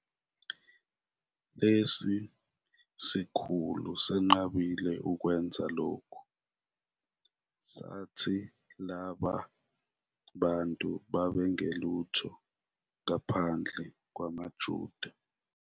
Lesi sikhulu senqabile ukwenza lokho, sathi laba bantu babengelutho ngaphandle kwamaJuda.